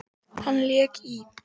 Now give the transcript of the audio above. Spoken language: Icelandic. Hann lék í